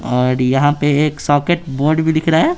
और यहां पे एक सॉकेट बोर्ड भी दिख रहा है।